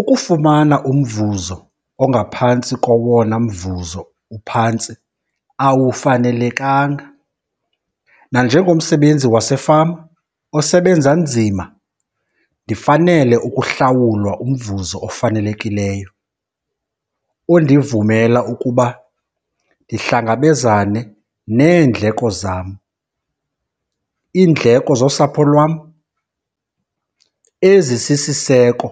Ukufumana umvuzo ongaphantsi kowona mvuzo uphantsi awufanelekanga. Nanjengomsebenzi wasefama osebenza nzima ndifanele ukuhlawulwa umvuzo ofanelekileyo, ondivumela ukuba ndihlangabezane neendleko zam, iindleko zosapho lwam ezisisiseko,